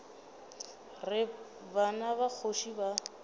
re bana ba kgoši ba